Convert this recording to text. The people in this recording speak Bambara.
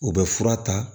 U bɛ fura ta